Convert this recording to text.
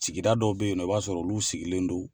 Sigida dɔw be yen nɔ i b'a sɔrɔ olu sigilen don